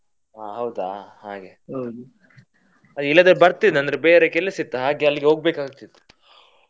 ಹಾ ಹೌದಾ ಹಾಗೆ ಇಲ್ಲದ್ರೆ ಬರ್ತಿದ್ದೆ ಬೇರೆ ಕೆಲಸ ಇತ್ತು ಹಾಗೆ ಅಲ್ಲಿಗೆ ಹೋಗ್ಬೇಕ್ ಆಗ್ತಿತ್ತು.